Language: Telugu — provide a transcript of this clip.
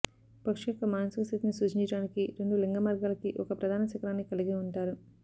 పక్షి యొక్క మానసిక స్థితిని సూచించడానికి రెండు లింగమార్గాలకి ఒక ప్రధాన శిఖరాన్ని కలిగి ఉంటారు